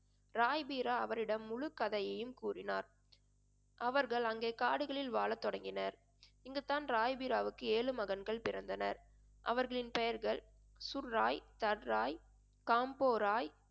ராய் பீரா அவரிடம் முழு கதையையும் கூறினார் அவர்கள் அங்கே காடுகளில் வாழத் தொடங்கினர் இங்குதான் ராய் பிராவுக்கு ஏழு மகன்கள் பிறந்தனர் அவர்களின் பெயர்கள் சுர் ராய், தர் ராய், காம்போ ராய்,